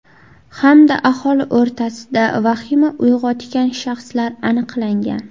Hamda aholi o‘rtasida vahima uyg‘otgan shaxslar aniqlangan.